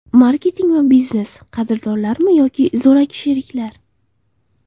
Marketing va biznes: qadrdonlarmi yoki zo‘raki sheriklar?.